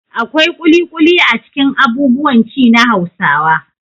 Akwai ƙuliƙuli a cikin abubuwan ci na Hausawa.